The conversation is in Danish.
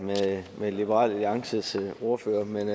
med liberal alliances ordfører men